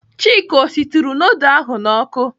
Chika ọ shituru nudul ahụ n'ọkụ?